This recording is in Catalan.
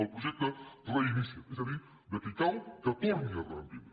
el projecte reinicia’t és a dir de qui cau que torni a reprendre